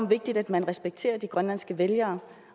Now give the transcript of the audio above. vigtigt at man respekterer de grønlandske vælgere